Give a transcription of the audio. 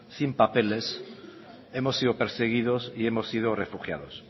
sin papeles hemos sido perseguidos y hemos sido refugiados